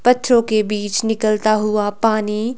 बच्चों के बीच निकलता हुआ पानी--